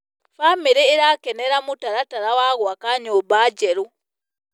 Bamĩrĩ ĩrakenera mũtaratara wa gwaka nyũmba njerũ.